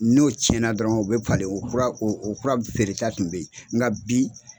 N'o tiɲɛna dɔrɔn u bɛ falen o kura o kura feere ta tun bɛ yen nka bi.